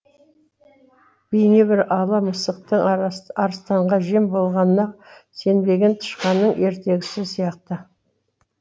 бейнебір ала мысықтың арыстанға жем болғанына сенбеген тышқанның ертегісі сияқты